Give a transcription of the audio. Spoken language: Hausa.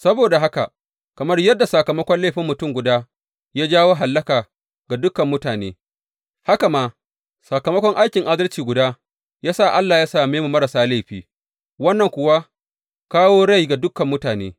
Saboda haka, kamar yadda sakamakon laifin mutum guda ya jawo hallaka ga dukan mutane, haka ma sakamakon aikin adalci guda ya sa Allah ya same mu marasa laifi, wannan kuwa kawo rai ga dukan mutane.